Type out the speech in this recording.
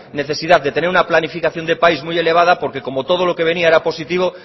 necesidad de tener una planificación de país muy elevada porque como todo lo que venía era positivo